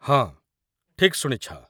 ହଁ, ଠିକ୍ ଶୁଣିଛ ।